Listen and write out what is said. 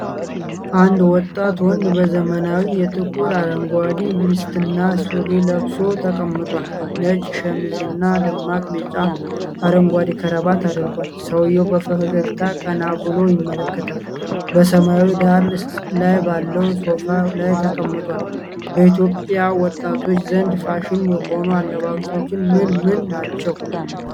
አንድ ወጣት ወንድ በዘመናዊ የጥቁር አረንጓዴ ቬስትና ሱሪ ለብሶ ተቀምጧል። ነጭ ሸሚዝ እና ደማቅ ቢጫ/አረንጓዴ ክራቫት አድርጓል። ሰውዬው በፈገግታ ቀና ብሎ ይመለከታል፣ በሰማያዊ ዳራ ላይ ባለው ሶፋ ላይ ተቀምጧል። በኢትዮጵያ ወጣቶች ዘንድ ፋሽን የሆኑ አለባበሶች ምን ምን ናቸው?